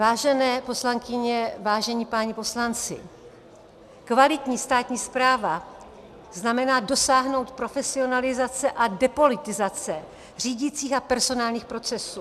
Vážené poslankyně, vážení páni poslanci, kvalitní státní správa znamená dosáhnout profesionalizace a depolitizace řídicích a personálních procesů.